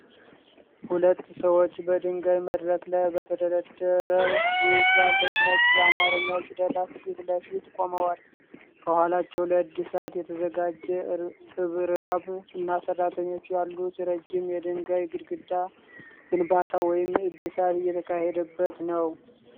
ሁለት ሰዎች በድንጋይ መድረክ ላይ በተደረደሩ ትላልቅ ነጭ የአማረኛ ፊደላት ፊት ለፊት ቆመዋል። ከኋላቸው ለእድሣት የተዘጋጀ እርብራብ እና ሰራተኞች ያሉት ረዥም የድንጋይ ግድግዳ ግንባታ ወይም እድሳት እየተካሄደበት ነው።